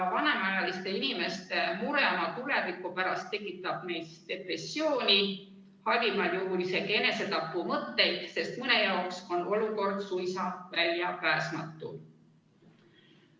Vanemaealiste inimeste mure oma tuleviku pärast tekitab neis depressiooni, halvimal juhul isegi enesetapumõtteid, sest mõne jaoks on olukord suisa väljapääsmatu.